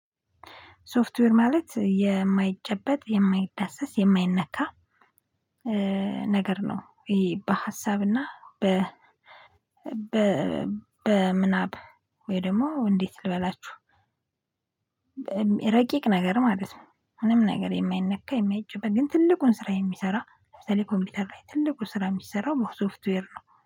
ሶፍትዌር ማለት የማይጨበጥ የማይዳሰስ የማይነካ ነገር ነው። ይሄ በሀሳብ እና በ በ በምናብ ወይ ደግሞ እንዴት ልበላችሁ። ረቂቅ ነገር ማለት ምንም ነገር የማይነካ የማይጨበጥ ግን ትልቁን ስራ የሚሰራ በተለይ ኮምቢውቴር ለይ ትልቁ ስራ የሚስራው በሶፍትዌር ነው